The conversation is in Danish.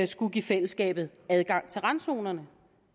skulle give fællesskabet adgang til randzonerne